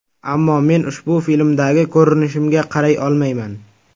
Ammo men ushbu filmdagi ko‘rinishimga qaray olmayman.